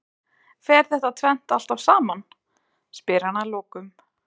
Fer þetta tvennt alltaf saman? spyr hann að lokum.